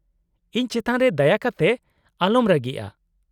-ᱤᱧ ᱪᱮᱛᱟᱱ ᱨᱮ ᱫᱟᱭᱟ ᱠᱟᱛᱮ ᱟᱚᱞᱚᱢ ᱨᱟᱹᱜᱤᱜᱼᱟ ᱾